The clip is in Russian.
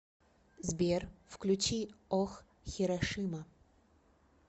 сбер включи ох хирошима